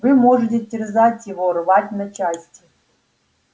вы можете терзать его рвать на части